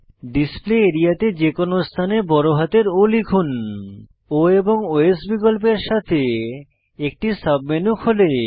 display area তে যে কোনো স্থানে বড় হাতের O লিখুন O এবং ওএস বিকল্পের সাথে একটি সাবমেনু খোলে